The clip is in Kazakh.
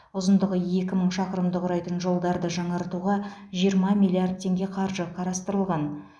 ұзындығы екі мың шақырымды құрайтын жолдарды жаңартуға жиырма миллиард теңге қаржы қарастырылған